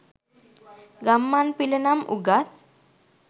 ගම්මන් පිල නම් උගත්